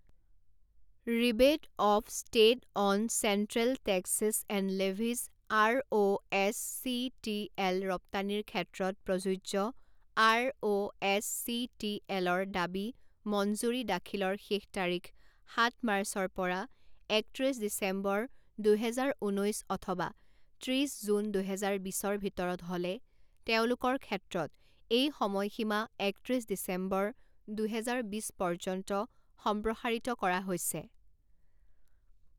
Rebate of state and central taxes and levies R O S C T L ৰপ্তানীৰ ক্ষেত্ৰত প্ৰযোজ্য R O S C T এলৰ দাবী মঞ্জুৰী দাখিলৰ শেষ তাৰিখ সাত মাৰ্চৰ পৰা একত্ৰিছ ডিচেম্বৰ দুহেজাৰ ঊনৈছ অথবা ত্ৰিছ জুন দুহেজাৰ বিছৰ ভিতৰত হ'লে তেওঁলোকৰ ক্ষেত্ৰত এই সময় সীমা একত্ৰিছ ডিচেম্বৰ দুহেজাৰ বিছ পৰ্যন্ত সম্প্ৰসাৰিত কৰা হৈছে।